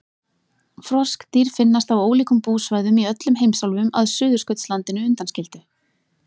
Froskdýr finnast á ólíkum búsvæðum í öllum heimsálfum að Suðurskautslandinu undanskildu.